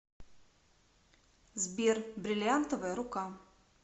сбер брильянтовая рука